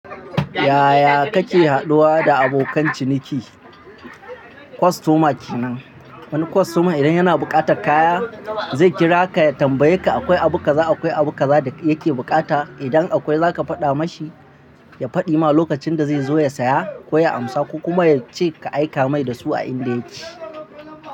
Yaya kake haɗuwa da abokan ciniki? Customer kenan, wani customer idan yana buƙatar kaya zai kira ka ya tambaye ka akwai abu kaza akwai abu kaza da yake bukata. Idan akwai zaka faɗa mashi, ya faɗi ma lokacin da zai zo ya saya ko ya amsa, kuma yace ka aika mai da su a inda yake.